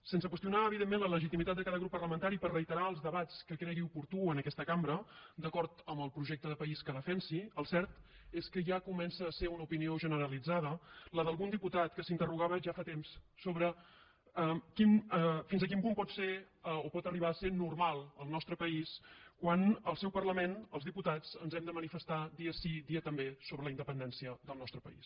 sense qüestionar evidentment la legitimitat de cada grup parlamentari per reiterar els debats que cregui oportú en aquesta cambra d’acord amb el projecte de país que defensi el cert és que ja comença a ser una opinió generalitzada la d’algun diputat que s’interrogava ja fa temps sobre fins a quin punt pot ser o pot arribar a ser normal el nostre país quan al seu parlament els diputats ens hem de manifestar dia sí dia també sobre la independència del nostre país